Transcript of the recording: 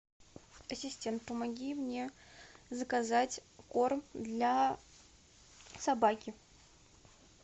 ассистент помоги мне заказать корм для собаки